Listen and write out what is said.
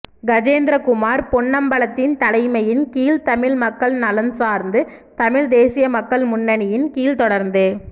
கஜேந்திரகுமார் பொன்னம்பலத்தின் தலைமையின் கீழ் தமிழ் மக்கள் நலன்சார்ந்து தமிழ் தேசிய மக்கள் முன்னணியின் கீழ் தொடர்ந்து